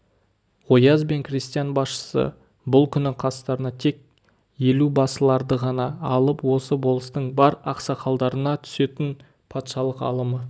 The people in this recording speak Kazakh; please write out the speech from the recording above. ояз бен крестьян басшысы бұл күні қастарына тек елубасыларды ғана алып осы болыстың бар ақсақалдарына түсетін патшалық алымы